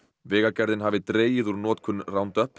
vegagerðin hafi dregið úr notkun